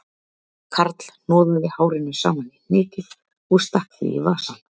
Karl hnoðaði hárinu saman í hnykil og stakk því í vasann